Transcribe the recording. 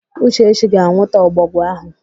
Uchechi ga-anwụta ọbọgwụ áhụ̀.